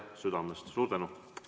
Südamest suur tänu!